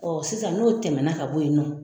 sisan n'o tɛmɛna ka bo yen nɔn